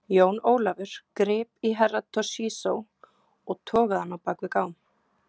Jón Ólafur grip í Herra Toshizo og togaði hann á bak við gám.